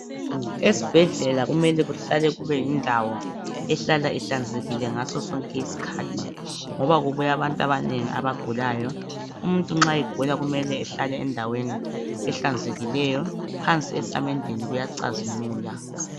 Esibhedlela kumele kuhlale kube yindawo ehlala ehlanzekile ngaso sonke iskhathi, ngoba kubuya abantu abanengi abagulayo. Umuntu nxa egula kumele ehlale endaweni ehlanzekileyo phansi esamendeni kuyacazimula.